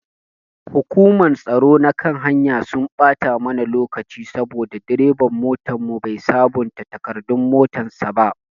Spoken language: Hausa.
Hukumar tsaro na kan hanya sun ɓata mana lokaci saboda direban motanmu bai sabonta takardun motan sa ba.